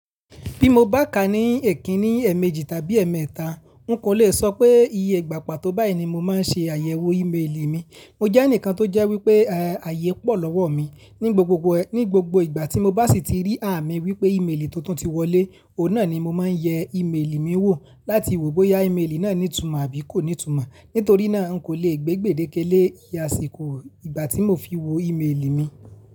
Bí mo bá ká ní èkínní, èèmejì tàbí èèméta, nko le sọ pé iye ìgbà pa tó báyìí ni mo máa ń ṣe àyẹ̀wò ímeèlì mi. Mo jẹ́ ẹnìkan tó jẹ́ wípé ààyè pọ̀ lọ́wọ́ mi. Ní gbogbo ìgbà tí mo bá sì tí rí àmì wípé ímeèlì tuntun ti wọlé, òhun náà ni mo máa ń yẹ ímeèlì mi wò láti wò bóyá ímeèlì náà ní ìtumọ̀ àbí kò ní ìtumọ̀. Nítorí náà nko le gbé gbèdéke lé àsìkò ìgbà tí mo fi wo ímeèlì mi.